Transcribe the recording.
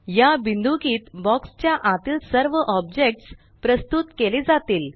या बिंदुकीत बॉक्स च्या आतील सर्व ऑब्जेक्ट्स प्रस्तुत केले जातील